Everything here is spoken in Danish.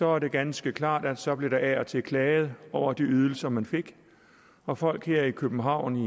er det ganske klart at så blev der af og til klaget over de ydelser man fik og folk her i københavn i